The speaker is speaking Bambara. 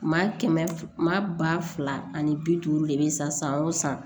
Maa kɛmɛ maa ba fila ani bi duuru de bɛ san san o san